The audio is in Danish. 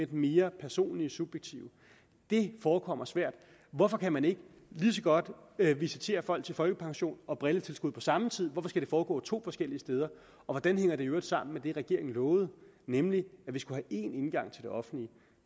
den mere personlige subjektive det forekommer svært hvorfor kan man ikke lige så godt visitere folk til folkepension og brilletilskud på samme tid hvorfor skal det foregå to forskellige steder og hvordan hænger det i øvrigt sammen med det regeringen lovede nemlig at vi skulle én indgang til det offentlige